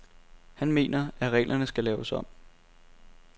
Han mener, at reglerne skal laves om.